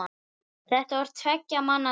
Þetta var tveggja manna tal.